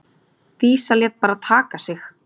Dísa lét bara taka sig.